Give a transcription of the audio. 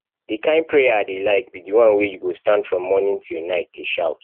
the kin prayer i dey like be the one wey you go stand from morning till night dey shout